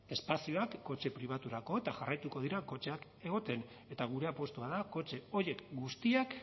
espazioak kotxe pribaturako eta jarraituko dute kotxeak egoten eta gure apustua da kotxe horiek guztiak